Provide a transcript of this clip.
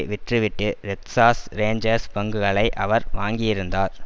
விற்றுவிட்டு Texas Rangers பங்குகளை அவர் வாங்கியிருந்தார்